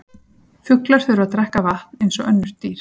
Fuglar þurfa að drekka vatn eins og önnur dýr.